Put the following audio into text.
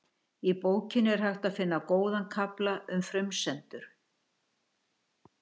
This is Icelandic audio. í bókinni er hægt að finna góðan kafla um frumsendur